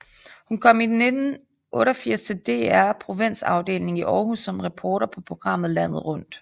Hun kom i 1988 til DR Provinsafdelingen i Århus som reporter på programmet Landet Rundt